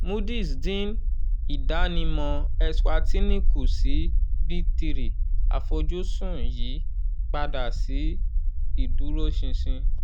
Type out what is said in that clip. moody's dín ìdánimọ eswatini kù sí b three àfojúsùn yí padà sí iduroṣinṣin